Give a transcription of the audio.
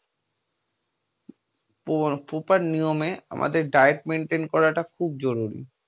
পর proper নিয়মে আমাদের diet maintain করাটা খুব জরুরি।